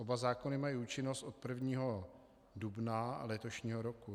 Oba zákony mají účinnost od 1. dubna letošního roku.